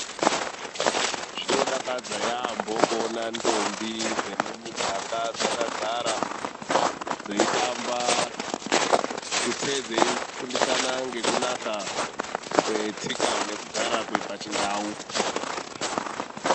Zvinodakadza yaamho kuona ndombi mumuganga dzakagara dzeitamba tutsei dzeifundisana ngekunaka kwetsika nekugara kwepachindau.